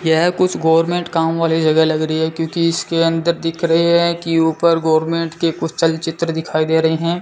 यह कुछ गवर्नमेंट काम वाली जगह लग रही है क्योंकि इसके अंदर दिख रहे है कि ऊपर गवर्नमेंट के कुछ चलचित्र दिखाई दे रहे हैं।